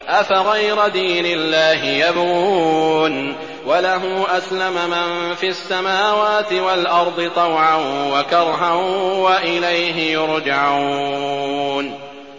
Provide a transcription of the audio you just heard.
أَفَغَيْرَ دِينِ اللَّهِ يَبْغُونَ وَلَهُ أَسْلَمَ مَن فِي السَّمَاوَاتِ وَالْأَرْضِ طَوْعًا وَكَرْهًا وَإِلَيْهِ يُرْجَعُونَ